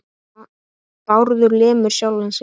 Bárður lemur sjálfan sig.